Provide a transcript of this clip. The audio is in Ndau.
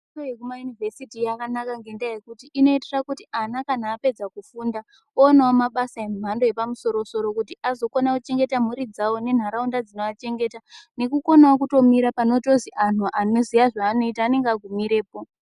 Fundo yekumayunivhesiti yakanaka ngekuti inoite kuti ana kana apedza kufunda oonawo mabasa emhando yepamusoro soro kuti azokona kuchengeta mhuri dzawo nenharaunda dzinoachengeta nekukonawo kutomira panozi anthu anoziya zvaanoita anenge akumirepo.